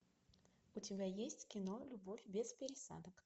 у тебя есть кино любовь без пересадок